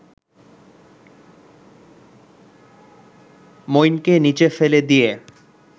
মইনকে নিচে ফেলে দিয়ে